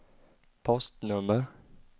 postnummer